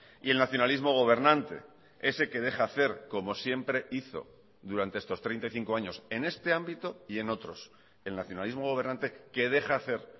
y el nacionalismo gobernante ese que deja hacer como siempre hizo durante estos treinta y cinco años en este ámbito y en otros el nacionalismo gobernante que deja hacer